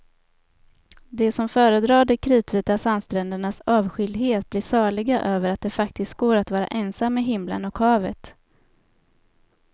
De som föredrar de kritvita sandsträndernas avskildhet blir saliga över att det faktiskt går att vara ensam med himlen och havet.